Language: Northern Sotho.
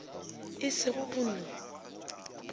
e se go go no